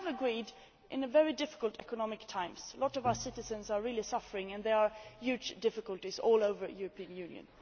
We have agreed this in very difficult economic times. Many of our citizens are really suffering, and there are huge difficulties all over the European Union.